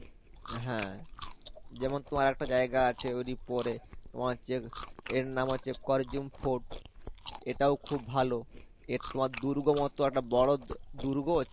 হ্যা যেমন তোমার আরেকটা জায়গা আছে ঐ পরে তোমার যে এর নাম হচ্ছে corjuem fort এটাও খুব ভালো এ তোমার দূর্গ মত একটা বড় দ~দূর্গ